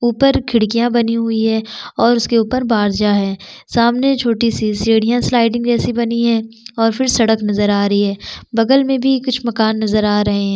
ऊपर खिड़किया बनी हुई है और उसके ऊपर बाजा है सामने छोटी-सी सीढ़िया स्लाइडिंग जैसी बनी है और फिर सड़क नज़र आ रही है बगल में भी कुछ मकान नज़र आ रहे है।